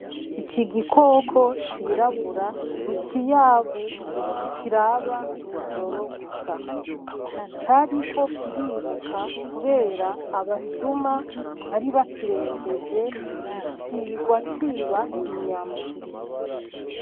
Ikigikoko cirabura nikiyabu kiraba mwijoro gusa. Cariko kiriruka kubera abasuma bari bakirembeje cirigwaciba inyama.